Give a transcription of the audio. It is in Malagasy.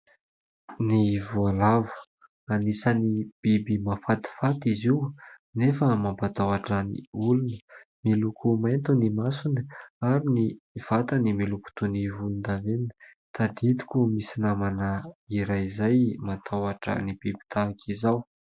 Ny voalavo, anisan'ny biby mahafatifaty izy io anefa mampatahotra ny olona, miloko mainty ny masony ary ny vatany miloko toy ny volondavenona. Tadidiko misy namana iray izay matahotra ny biby tahaka izao.